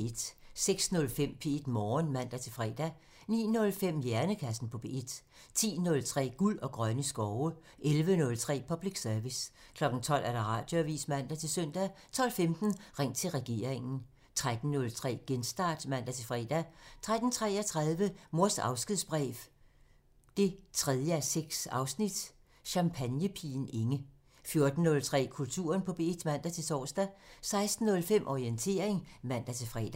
06:05: P1 Morgen (man-fre) 09:05: Hjernekassen på P1 (man) 10:03: Guld og grønne skove (man) 11:03: Public Service (man) 12:00: Radioavisen (man-søn) 12:15: Ring til regeringen (man) 13:03: Genstart (man-fre) 13:33: Mors afskedsbrev 3:6 – Champagnepigen Inge 14:03: Kulturen på P1 (man-tor) 16:05: Orientering (man-fre)